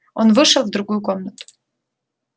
он вышел в другую комнату